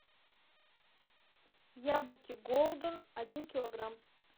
яблоки голден один килограмм